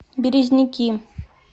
березники